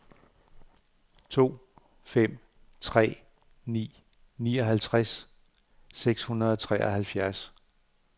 to fem tre ni nioghalvfjerds seks hundrede og treoghalvfjerds